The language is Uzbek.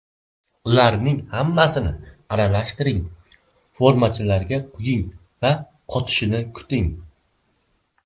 Ularning hammasini aralashtiring, formachalarga quying va qotishini kuting.